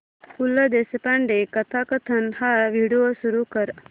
पु ल देशपांडे कथाकथन हा व्हिडिओ सुरू कर